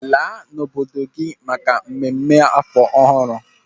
Laa n'obodo gị maka mmemme afọ ọhụrụ!